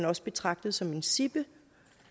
også betragtet som sippede